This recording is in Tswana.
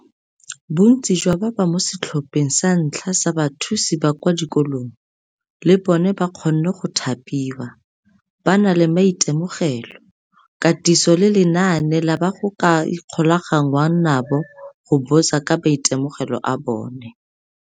Bontsi jwa ba ba mo setlhopheng sa ntlha sa bathusi ba kwa dikolong, le bona ba kgonne go thapiwa, ba na le maitemogelo, katiso le lenane la ba go ka ikgolaganngwang nabo go botsa ka maitemogelo a bona.